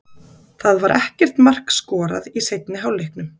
Það var ekkert mark skorað í seinni hálfleiknum.